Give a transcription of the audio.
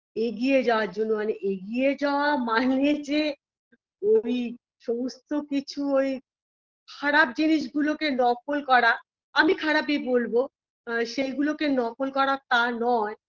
এগিয়ে যাওয়ার জন্য মানে এগিয়ে যাওয়া মানে যে ওই সমস্ত কিছু ওই খারাপ জিনিসগুলো কে নকল করা আমি খারাপই বলবো আ সেইগুলোকে নকল করা তা নয়